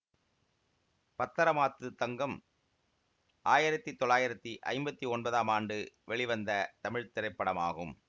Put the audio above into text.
பத்தரமாத்து தங்கம் ஆயிரத்தி தொள்ளாயிரத்தி ஐம்பத்தி ஒன்பதாம் ஆண்டு வெளிவந்த தமிழ் திரைப்படமாகும்